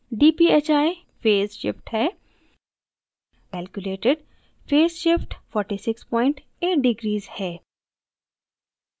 dphi phase shift है calculated phase shift 468 degrees है